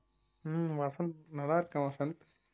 ஹம் வசந்த் நல்லா இருக்கேன் வசந்த்